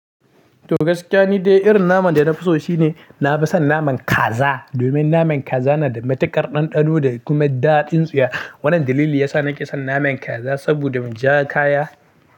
To gaskiya ni dai irin naman da na fi so shine nafi son naman kaza. Domin naman kaza na da matuƙar ɗanɗano da kuma daɗin tsiya. Wannan dalili ya sa na ƙi son naman kaza saboda mun ja kaya.